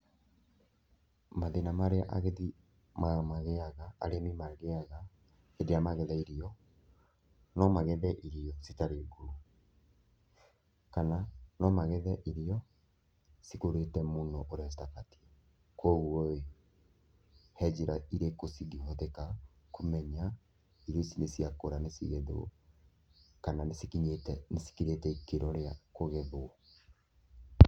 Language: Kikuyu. Mathĩna marĩa agethi magĩaga, arĩmi magĩaga hĩndĩ ĩrĩa magetha irio, no magethe irio citarĩ ngũrũ, kana no magethe irio cikũrĩte mũno ũrĩa citabatiĩ, koguo ĩ, he njĩra irĩkũ cingĩhũthĩka kũmenya irio ici nĩ ciakũra nĩ cigethwo, kana nĩ cikinyĩte nĩ cikinyĩte ikĩro rĩa kũgethwo?